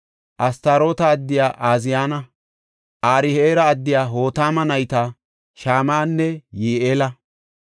Astaroota addiya Ooziyana, Aro7eera addiya Hotama nayta Shama7anne Yi7eela,